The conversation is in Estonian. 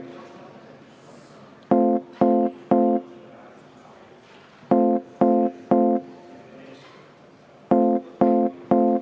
Maris Lauri, palun!